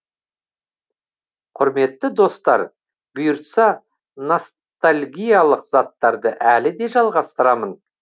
құрметті достар бұйыртса ностальгиялық заттарды әлі де жалғастырамын